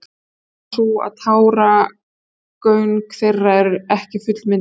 ástæðan er sú að táragöng þeirra eru ekki fullmynduð